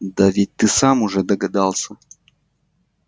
да ведь ты сам уже догадался